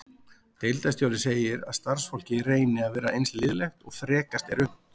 Deildarstjóri segir að starfsfólkið reyni að vera eins liðlegt og frekast er unnt.